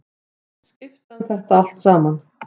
Skipta um þetta allt saman.